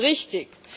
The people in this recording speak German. Richtig!